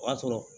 O y'a sɔrɔ